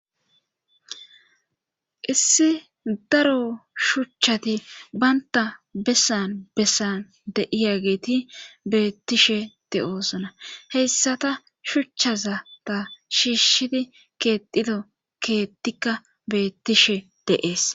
issi daro shuchchati baynta bessan bessan de'iyageeti beettishe de'oosona heyssata shuchchaza ta shiishshidi keetido keettikka beettishe de'ees